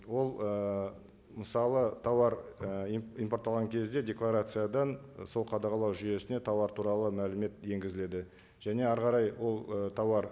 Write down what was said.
ол ы мысалы тауар і импортталған кезде декларациядан сол қадағалау жүйесіне тауар туралы мәлімет енгізіледі және әрі қарай ол і тауар